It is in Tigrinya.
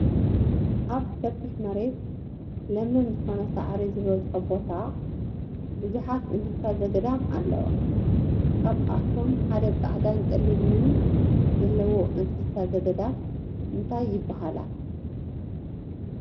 ኣብ ሰፊሕ መሬት ለምለም ዝኮነ ሳዕሪ ዝበዝሖ ቦታ ብዙሓት እንሰሳ ዘገዳም ኣለዋ። ካብ ኣቶም ሓደ ፃዕዳን ፀሊምን ዘለወን እንሰሳት ዘገዳም እንታይ ይባሃላ?